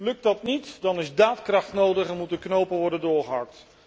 Lukt dat niet, dan is daadkracht nodig en moeten knopen worden doorgehakt.